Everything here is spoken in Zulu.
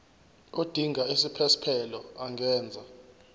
odinga isiphesphelo angenza